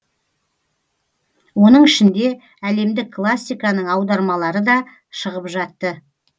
оның ішінде әлемдік классиканың аудармалары да шығып жатты